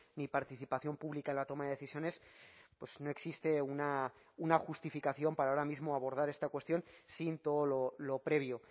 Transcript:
ni participación pública en la toma de decisiones no existe una justificación para ahora mismo abordar esta cuestión sin todo lo previo